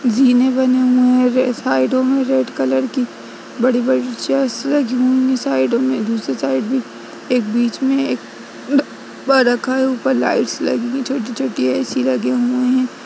जीने बने हुएँ हैं। साइडों में रेड कलर की बड़ी-बड़ी चेयर्स लगी हुईं हैं। साइडों में दूसरी साइड भी एक बीच में ड - डब्बा रखा है। ऊपर लाईटस लगीं हैं। छोटी - छोटी ऐ.सी. लगे हुएँ हैं।